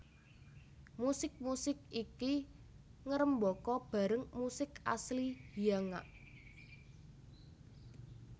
Musik musik iki ngrembaka bareng musik asli Hyangak